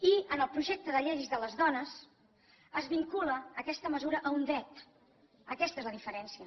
i en el projecte de llei de les dones es vincula aquesta mesura a un dret aquesta és la diferència